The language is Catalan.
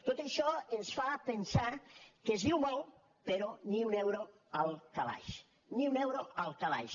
tot això ens fa pensar que es diu molt però ni un euro al calaix ni un euro al calaix